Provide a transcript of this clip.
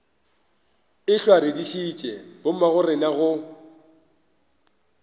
ehlwa re dišitše bommagorena go